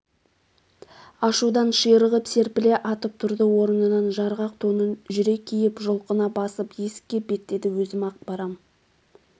ашудан ширығып серпіле атып тұрды орнынан жарғақ тонын жүре киіп жұлқына басып есікке беттеді өзім-ақ барам